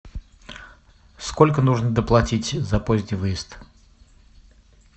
сколько нужно доплатить за поздний выезд